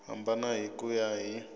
hambana hi ku ya hi